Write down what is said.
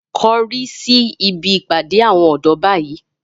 Korí síbi ìpàdé àwọn ọ̀dọ́ báyìí